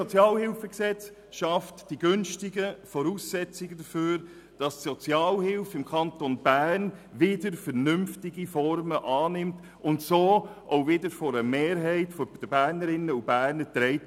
Das neue SHG schafft die günstigen Voraussetzungen dafür, dass die Sozialhilfe im Kanton Bern wieder vernünftige Formen annimmt und so auch wieder von einer Mehrheit der Bernerinnen und Bernern getragen wird.